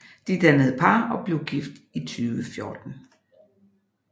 De dannede par og blev gift i 2014